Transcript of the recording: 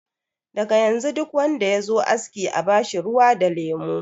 Daga yanzu duk wanda yazo aski a bashi ruwa da lemo.